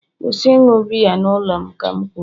kwụsị ịṅụ biya n'ụlọ m ka m kwuru!